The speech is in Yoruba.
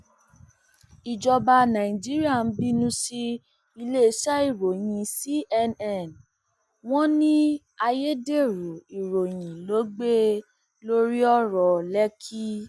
ìjọba nàìjíríà ń bínú sí iléeṣẹ ìròyìn cnn wọn ní ayédèrú ìròyìn ló gbé lórí ọrọ lèkì